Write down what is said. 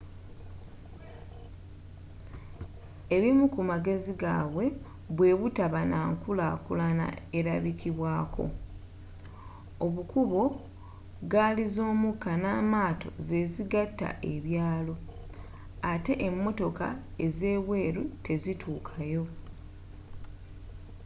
ebimu ku magezi gabwe bwebutaba n'ankulakulana erabikibwako obukubo ggaaliz'omukka n'amaato zezigata ebyalo ate emotoka ezebweru tezituuka yo